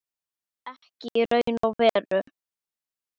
Ekki í raun og veru.